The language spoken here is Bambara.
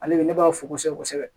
Ale de ne b'a fo kosɛbɛ kosɛbɛ